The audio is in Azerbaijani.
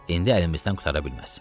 İndi əlimizdən qurtara bilməz.